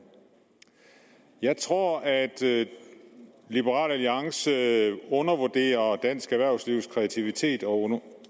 jeg tror at liberal alliance undervurderer dansk erhvervslivs kreativitet og